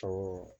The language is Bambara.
Ɔ